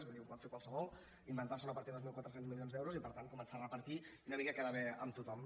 vull dir ho pot fer qualsevol inventar se una partida de dos mil quatre cents milions d’euros i per tant començar a repartir i una mica quedar bé amb tothom